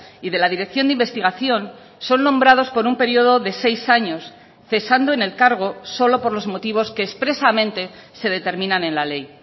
y de la dirección de investigación son nombrados por un periodo de seis años cesando en el cargo solo por los motivos que expresamente se determinan en la ley